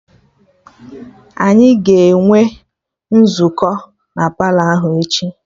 Anyị ga-enwe nzukọ na Palọ ahụ echi